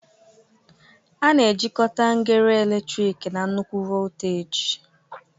A na-ejikọta ngere eletrik na nnukwu voltaji